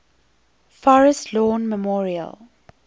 forest lawn memorial